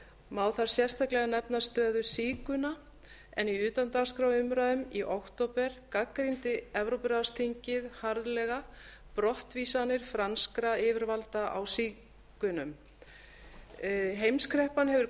má þar sérstaklega nefna stöðu sígauna en í utandagskrárumræðum í október gagnrýndi evrópuráðsþingið harðlega brottvísanir franskra yfirvalda á sígaunum heimskreppan hefur